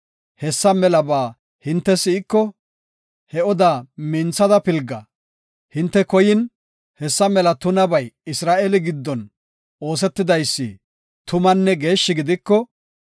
hessa melaba hinte si7iko, he odaa minthidi pilga. Hinte koyin, hessa mela tunabay Isra7eele giddon oosetidaysi tumanne geeshshi gidiko,